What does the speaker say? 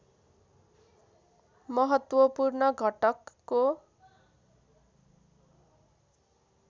महत्त्वपूर्ण घटकको